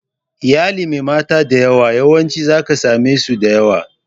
Iyalin mai mata da yawa, yawancin za ka same su da yawa.